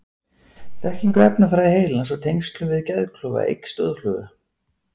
Þekking á efnafræði heilans og tengslum við geðklofa eykst óðfluga.